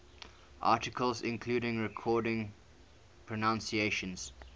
articles including recorded pronunciations